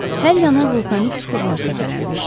Hər yana vulkanik süxurlar səpələnmişdi.